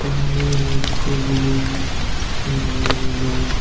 पानी है उसपे बोहोत नीला-नीला --